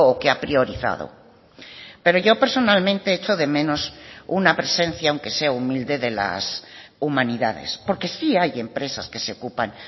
que ha priorizado pero yo personalmente echo de menos una presencia aunque sea humilde de las humanidades porque sí hay empresas que se ocupan